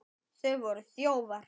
Þetta voru þjófar!